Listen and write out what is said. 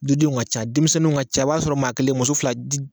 Dudenw ka ca denmisɛnninw ka ca b'a sɔrɔ maa kelen muso fila